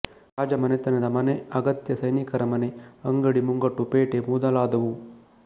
ರಾಜ ಮನೆತನದ ಮನೆ ಅಗತ್ಯ ಸೈನಿಕರ ಮನೆ ಅಂಗಡಿ ಮುಂಗಟ್ಟು ಪೇಟೆ ಮೊದಲಾದವು